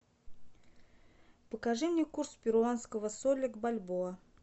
покажи мне курс перуанского соля к бальбоа